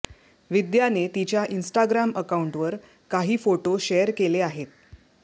विद्याने तिच्या इन्स्टाग्राम अकाउंटवर काही फोटो शेअर केले आहेत